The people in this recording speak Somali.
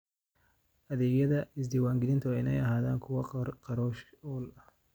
Adeegyada isdiiwaangelinta waa inay ahaadaan kuwo kharash-ool ah.